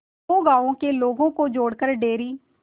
दो गांवों के लोगों को जोड़कर डेयरी